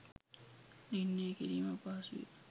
නිර්ණය කිරීම අපහසුය.